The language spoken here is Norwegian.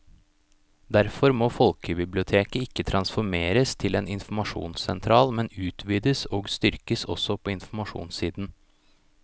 Derfor må folkebiblioteket ikke transformeres til en informasjonssentral, men utvides og styrkes også på informasjonssiden.